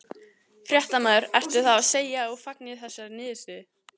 Fréttamaður: Ertu þá að segja að þú fagnir þessari niðurstöðu?